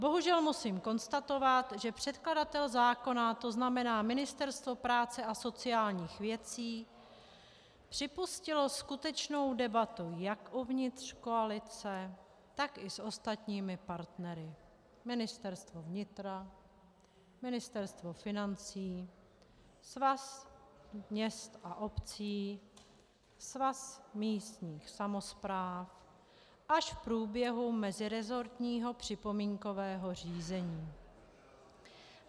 Bohužel musím konstatovat, že předkladatel zákona, to znamená Ministerstvo práce a sociálních věcí, připustilo skutečnou debatu jak uvnitř koalice, tak i s ostatními partnery - Ministerstvo vnitra, Ministerstvo financí, Svaz měst a obcí, Svaz místních samospráv - až v průběhu meziresortního připomínkového řízení.